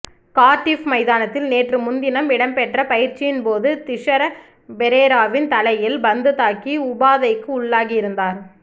Cardiff மைதானத்தில் நேற்று முன்தினம் இடம்பெற்ற பயிற்சியின் போது திஸர பெரேராவின் தலையில் பந்து தாக்கி உபாதைக்கு உள்ளாகிருந்தார்